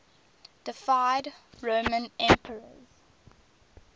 deified roman emperors